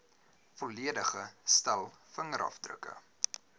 volledige stel vingerafdrukke